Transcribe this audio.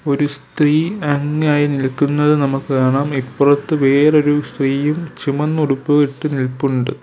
ഒരു സ്ത്രീ അന്യയായി നിൽക്കുന്നത് നമുക്ക് കാണാം ഇപ്പറത്തു വേറൊരു സ്ത്രീയും ചുമന്ന ഉടുപ്പുവിട്ട് നിൽപ്പുണ്ട്.